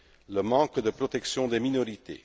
le manque de protection des minorités